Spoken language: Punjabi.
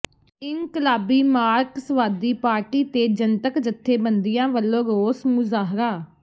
ਇਨਕਲਾਬੀ ਮਾਰਕਸਵਾਦੀ ਪਾਰਟੀ ਤੇ ਜਨਤਕ ਜਥੇਬੰਦੀਆਂ ਵੱਲੋਂ ਰੋਸ ਮੁਜ਼ਾਹਰਾ